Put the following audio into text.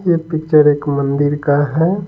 ये पिक्चर एक मंदिर का है।